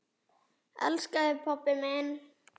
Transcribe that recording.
Elska þig, pabbi minn.